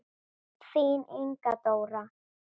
Þín Inga Dóra.